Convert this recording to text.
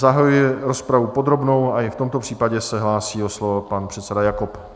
Zahajuji rozpravu podrobnou a i v tomto případě se hlásí o slovo pan předseda Jakob.